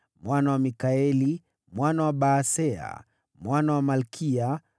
mwana wa Mikaeli, mwana wa Baaseya, mwana wa Malkiya,